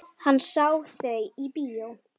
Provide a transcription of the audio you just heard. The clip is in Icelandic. Hann sá þau í bíó.